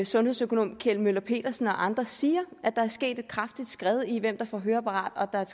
sundhedsøkonom kjeld møller petersen og andre siger at der er sket et kraftigt skred i hvem der får høreapparat